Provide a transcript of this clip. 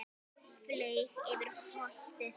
Flaug yfir holtið.